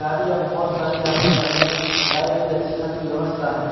गाडिया बहोत यहाँ पे सारी खड़ी हैं लाईट कि अच्छी खासी व्यवस्था है।